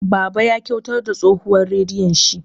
Baba ya kyautar da tsohuwar radiyon shi.